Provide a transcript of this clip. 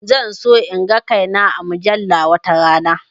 Zan so in ga kai na a mujalla watarana